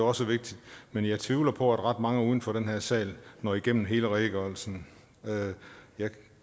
også vigtigt men jeg tvivler på at ret mange uden for den her sal når igennem hele redegørelsen jeg